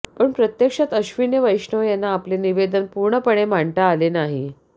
पण प्रत्यक्षात अश्विनी वैष्णव यांना आपले निवेदन पूर्णपणे मांडता आले नाही